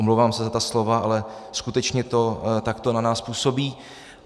Omlouvám se za ta slova, ale skutečně to takto na nás působí.